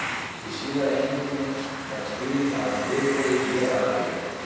Í síðari heimildinni er skýringin á þessu fyrirbrigði mjög rækileg: